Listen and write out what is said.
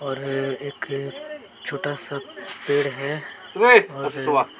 और एक छोटा सा पेड़ है और--